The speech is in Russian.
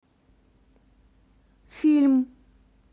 фильм